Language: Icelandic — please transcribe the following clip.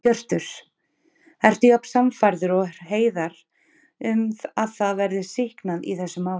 Hjörtur: Ertu jafn sannfærður og Hreiðar um að það verði sýknað í þessu máli?